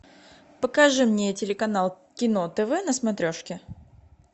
покажи мне телеканал кино тв на смотрешке